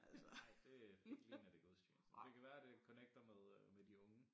Ej det øh ikke lige når det er gudstjeneste det kan være det connecter med øh med de unge